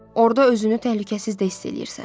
Orda özünü təhlükəsiz də hiss eləyirsən.